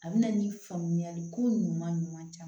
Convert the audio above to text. A bɛna ni faamuyali ko ɲuman ɲuman caman caman